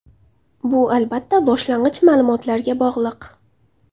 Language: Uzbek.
Bu albatta boshlang‘ich ma’lumotlarga bog‘liq.